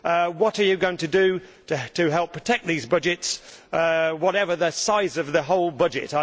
What are you going to do to help protect these budgets, whatever the size of the whole budget?